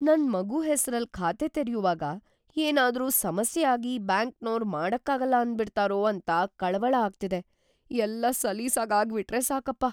ನನ್‌ ಮಗು ಹೆಸ್ರಲ್ಲ್‌ ಖಾತೆ ತೆರ್ಯುವಾಗ ಏನಾದ್ರೂ ಸಮಸ್ಯೆ ಆಗಿ ಬ್ಯಾಂಕ್ನೋರು ಮಾಡಕ್ಕಾಗಲ್ಲ ಅಂದ್ಬಿಡ್ತಾರೋ‌ ಅಂತ ಕಳವಳ ಆಗ್ತಿದೆ, ಎಲ್ಲ ಸಲೀಸಾಗ್‌ ಆಗ್ಬಿಟ್ರೆ ಸಾಕಪ್ಪ.